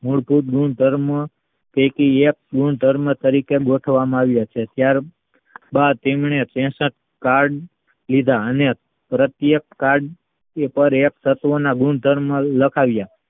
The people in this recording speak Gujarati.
મૂળભૂત ગુણધર્મો ગુણધર્મો તરીકે ગોતવામાં આવ્યા છે ત્યાર બાદ તેમને તેસઠ કાળ લીધા ને રસિક ઉપર એક તત્વના ગુણધર્મો લખાવ્યા